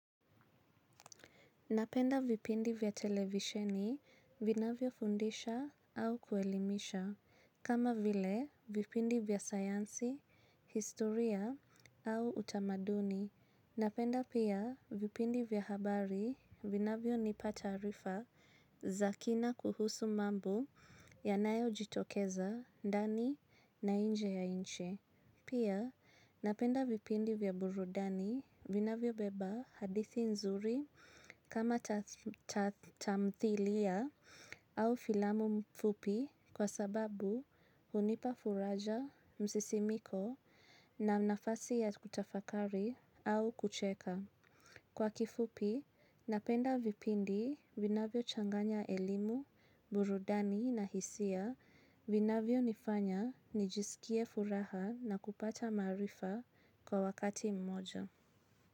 Napenda vipindi vya televisheni, vina vyo fundisha au kuelimisha, kama vile vipindi vya sayansi, historia au utamaduni. Napenda pia vipindi vya habari, vina vyo nipata arifa, zakina kuhusu mambo, yanayo jitokeza, ndani, na inje ya inchi. Pia napenda vipindi vya burudani vinavyo beba hadithi nzuri kama tatamthilia au filamu mfupi kwa sababu hunipa furaja msisimiko na nafasi ya kutafakari au kucheka. Kwa kifupi, napenda vipindi vinavyo changanya elimu, burudani na hisia vinavyo nifanya nijisikie furaha na kupata maarifa kwa wakati mmoja.